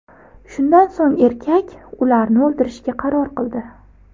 Shundan so‘ng erkak ularni o‘ldirishga qaror qildi.